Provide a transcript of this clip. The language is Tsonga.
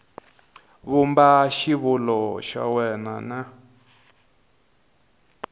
vumba xivulwa xa wena n